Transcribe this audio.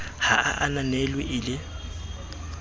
ha a ananelwe e le